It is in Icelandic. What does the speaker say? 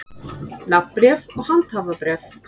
Nafnbréf og handhafabréf.